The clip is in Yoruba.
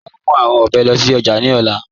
À ó mú awọn òbè lóṣì ojá ní òlà.